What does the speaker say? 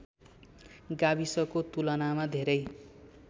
गाविसको तुलनामा धेरै